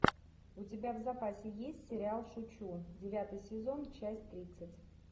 у тебя в запасе есть сериал шучу девятый сезон часть тридцать